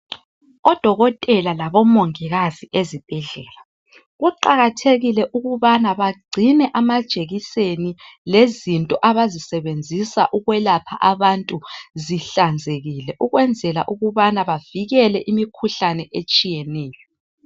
Odokotela labomongikazi ezibhedlela kuqakathekile ukubana bagcine amajekiseni lezinto abazisebenzisa ukwelapha abantu zihlanzekile ukwenzela ukubana bavikele imikhuhlane etshiyeneyo